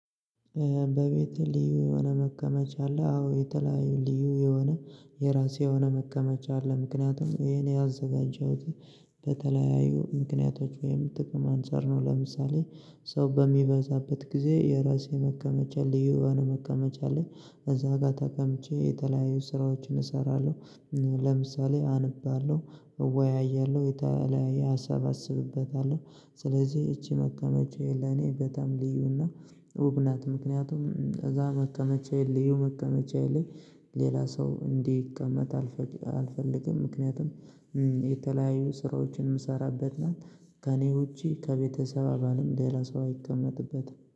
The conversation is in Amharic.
በቤትህ ልዩ የሆነ መቀመጫ አለ? አዎ የተለያዩ ልዩ የሆነ የራሴ የሆነ መቀመጫ አለ ምክንያቱም ይሄን ያዘጋጀሁት በተለያዩ ምክንያቶች ወይም ጥቅም አንፃር ነው። ለምሳሌ ሰው በሚበዛበት ጊዜ የራሴ መቀመጫ ልዩ የሆነ መቀመጫ ላይ እዛ ጋር ተቀምጬ የተለያዩ ስራዎችን እሰራለሁ። ለምሳሌ አነባለው እወያያለሁ የተለያየ አሰባስብበታለው። ስለዚህ ይቺ መቀመጫዬ ለኔ በጣም ልዩና ውብ ናት። ምክንያቱም እዛ መቀመጫ ልዬ መቀመጫ የለኝም ሌላ ሰው እንዲቀመጥ አልፈልግም። ምክንያቱም የተለያዩ ስራዎችን የምሰራበት ናት ከእኔ ውጪ ከቤተሰብ አባልም ሌላ ሰው አይቀመጥበትም